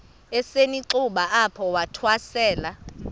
esisenxuba apho wathwasela